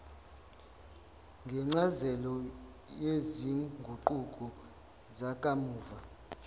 ngencazelo yezinguquko zakamuva